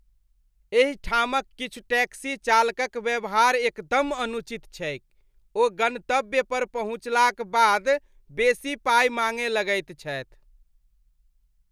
एहिठामक किछु टैक्सी चालकक व्यवहार एकदम अनुचित छैक, ओ गन्तव्य पर पहुँचलाक बाद बेसी पाइ माँगय लगैत छथि।